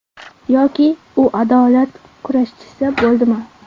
Yoki u adolat kurashchisi bo‘ldimi?